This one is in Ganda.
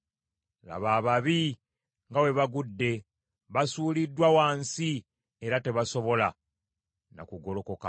Laba, ababi nga bwe bagudde! Basuuliddwa wansi era tebasobola na ku golokokawo.